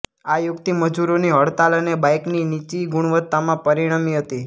આ યુક્તિ મજૂરોની હડતાલ અને બાઇકની નીચી ગુણવત્તામાં પરિણમી હતી